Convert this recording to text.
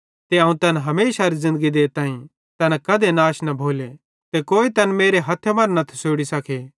ते अवं तैन हमेशारी ज़िन्दगी देताईं तैना कधी नाश न भोले ते कोई तैन मेरे हथ्थे मरां न थसोड़ी सके